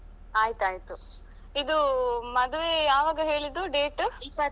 ಆಯ್ತಾಯ್ತು. ಇದು ಮದುವೆ ಯಾವಾಗ ಹೇಳಿದ್ದು date ?